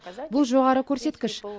бұл жоғары көрсеткіш